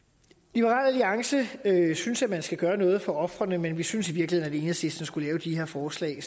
liberal alliance synes at man skal gøre noget for ofrene men vi synes i virkeligheden at enhedslisten skulle lave de her forslag